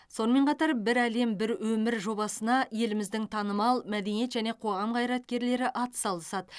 сонымен қатар бір әлем бір өмір жобасына еліміздің танымал мәдениет және қоғам қайраткерлері атсалысады